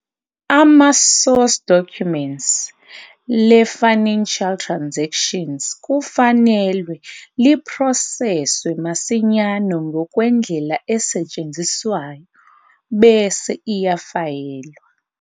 Ama-Source documents le-financial transactions kufanele liphroseswe masinyane ngokwendlela esetshenziswayo, bese iyafayelwa.